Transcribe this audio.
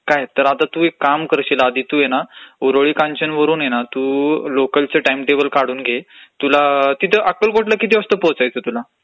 काय, तर आता तू एक काम करशील आधी तू हे ना ऊरळी कांचनवरून हे ना तू लोकलचं टाइमटेबल काढून घे. तुला अक्कलकोटला किती वाजता पोटायचय तुला?